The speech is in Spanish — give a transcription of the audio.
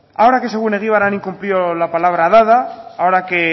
ahora que según egibar han incumplido la palabra dada ahora que